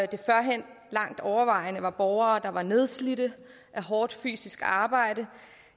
det førhen langt overvejende var borgere der var nedslidte af hårdt fysisk arbejde